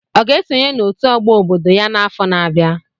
Ọ ga-esonye n'otu ọgbọ obodo ya n'afọ na-abịa.